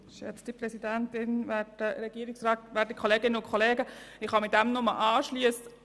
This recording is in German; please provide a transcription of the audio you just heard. Ich kann mich dem Votum meines Vorredners nur anschliessen.